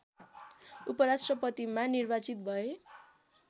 उपराष्ट्रपतिमा निर्वाचित भए